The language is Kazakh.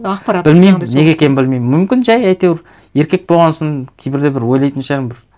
білмеймін неге екенін білмеймін мүмкін жай әйтеуір еркек болған сон кейбірде бір ойлайтын шығармын бір